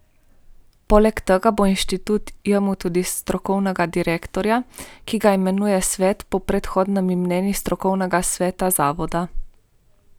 Poleg tega bo inštitut imel tudi strokovnega direktorja, ki ga imenuje svet po predhodnem mnenju strokovnega sveta zavoda.